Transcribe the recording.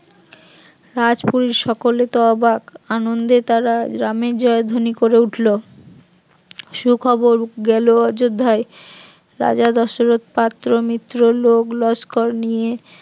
রাজ কুল সকলে তো অবাক আনন্দে তারা রামের জয়ধ্বনি করে উঠলো, সুখবর গেল অযোধ্যায় রাজা দশরথ পাত্র মিত্র লোক লস্কর নিয়ে